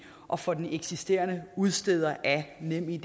og for den eksisterende udsteder af nemid